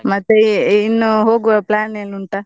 ಮತ್ತೆ ಇನ್ನು ಹೋಗುವ plan ಏನ್ ಉಂಟಾ?